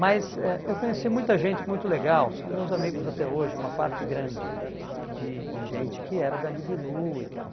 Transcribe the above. Mas eh eu conheci muita gente muito legal, são meus amigos até hoje, uma parte grande de de gente que era da Libilu e tal.